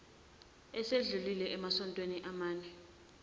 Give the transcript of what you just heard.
esedlulile emasontweni amane